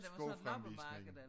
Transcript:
Skofremvisning